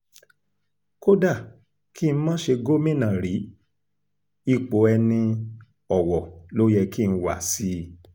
kódà kí n má ṣe gómìnà rí ipò ẹni-ọwọ́ ló yẹ kí n wá sí i